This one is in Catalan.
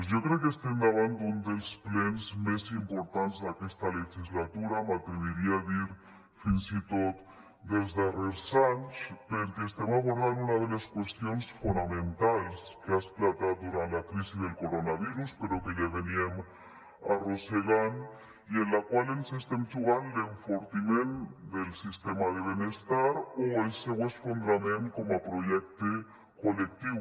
jo crec que estem davant d’un dels plens més importants d’aquesta legislatura m’atreviria a dir fins i tot dels darrers anys perquè estem abordant una de les qüestions fonamentals que ha esclatat durant la crisi del coronavirus però que ja arrossegàvem i en la qual ens estem jugant l’enfortiment del sistema de benestar o el seu esfondrament com a projecte col·lectiu